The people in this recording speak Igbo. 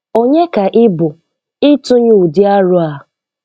Onye ka ị bụ ịtunye ụdị aro a?